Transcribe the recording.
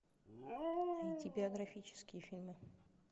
найти биографические фильмы